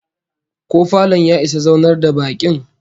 Ko falon ya isa zaunar da bakin?